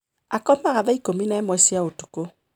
Akomaga thaa ikũmi na ĩmwe cia ũtukũ.